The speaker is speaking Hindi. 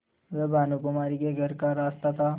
वह भानुकुँवरि के घर का एक रास्ता था